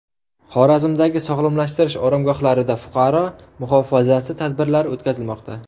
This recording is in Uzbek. Xorazmdagi sog‘lomlashtirish oromgohlarida fuqaro muhofazasi tadbirlari o‘tkazilmoqda.